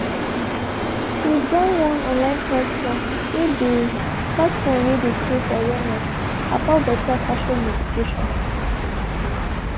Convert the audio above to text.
she join on online platform whey dey platform whey dey creat awareness about beta fashion education.